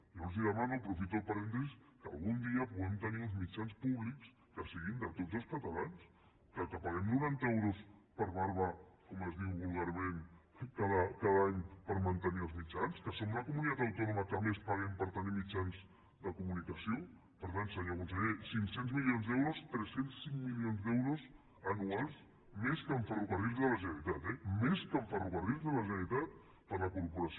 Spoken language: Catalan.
jo els demano aprofito per dir los que algun dia puguem tenir uns mitjans públics que siguin de tots els catalans que paguem noranta euros per barba com es diu vulgarment cada any per mantenir els mitjans que som la comunitat autònoma que més paguem per tenir mitjans de comunicació per tant senyor conseller cinc cents milions d’euros tres cents i cinc milions d’euros anuals més que en ferrocarrils de la generalitat eh més que en ferrocarrils de la generalitat per a la corporació